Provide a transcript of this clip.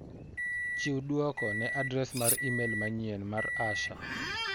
Chiw duoko ne adres mar imel manyien mar Asha.